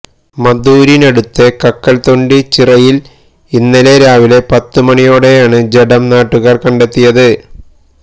മദൂരിനടുത്തെ കക്കല്തൊണ്ടി ചിറയില് ഇന്നലെ രാവിലെ പത്തുമണിയോടെയാണ് ജഡം നാട്ടുകാര് കണ്ടെത്തിയത്